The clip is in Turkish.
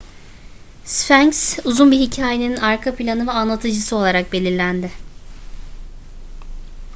sfenks uzun bir hikayenin arka planı ve anlatıcısı olarak belirlendi